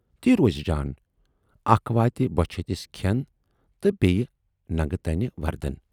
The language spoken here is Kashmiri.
تی روزِ جان، اکھ واتہِ بۅچھِ ہتِس کھٮ۪ن تہٕ بییہِ ننگہٕ تنہِ وردن